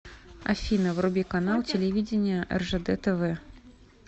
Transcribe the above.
афина вруби канал телевидения ржд тв